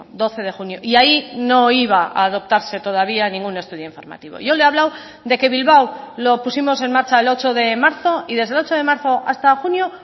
doce de junio y ahí no iba a adoptarse todavía ningún estudio informativo yo le he hablado de que bilbao lo pusimos en marcha el ocho de marzo y desde el ocho de marzo hasta junio